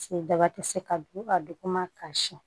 daba tɛ se ka don ka don koma ka siyɛn